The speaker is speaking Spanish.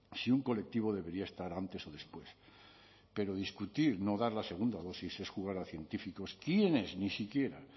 si un colectivo debería estar antes o después pero discutir no dar la segunda dosis es jugar a científicos quienes ni siquiera